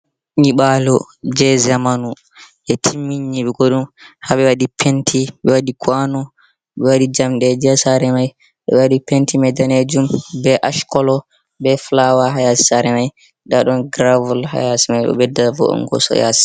Nibalo je zamanu. Ɓe timmini nyiɓugo ɗum. Ha ɓe waɗi penti, ɓe waɗi kuwano, ɓe waɗi jamɗeji ha sera mai. Ɓe waɗi penti mai ɗanejum, ɓe Ash kolo, ɓe fulawa ha yasi sare mai. Nɗa ɗon giravol ha yasi mai ɗo ɓeɗɗa vo'ongo so yasi.